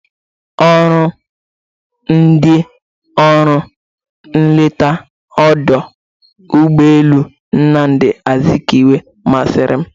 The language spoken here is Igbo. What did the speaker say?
Ọrụ ndị ọrụ nleta ọdụ ụgbọelu Nnamdị Azikiwe masịrị m.